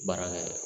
Baarakɛ